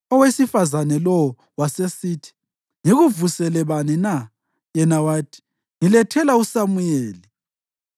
Owesifazane lowo wasesithi, “Ngikuvusele bani na?” Yena wathi, “Ngilethela uSamuyeli.”